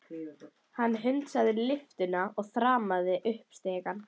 Hann hundsaði lyftuna og þrammaði upp stigana.